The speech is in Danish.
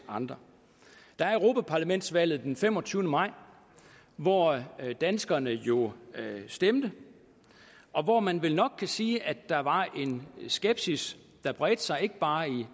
andre der er europaparlamentsvalget den femogtyvende maj hvor danskerne jo stemte og hvor man vel nok kan sige at der var en skepsis der bredte sig ikke bare i